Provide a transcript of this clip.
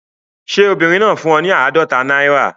Ṣé obìnrin náà fún un ní àádọ́ta náírà?